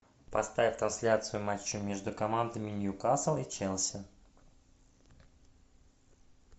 поставь трансляцию матча между командами ньюкасл и челси